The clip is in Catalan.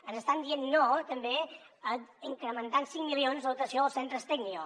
ens estan dient no també a incrementar en cinc milions la dotació als centres tecnio